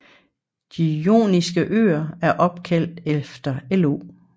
De Joniske Øer er opkaldt efter Io